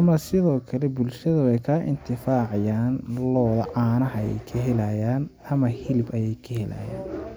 ama sidoo kale bulshada weyy kaa intifaacayaan looda caanaha ayeey ka helayaan ama hilib ayee ka helayaan.